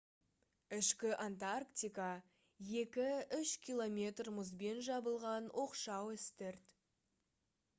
ішкі антарктика - 2-3 км мұзбен жабылған оқшау үстірт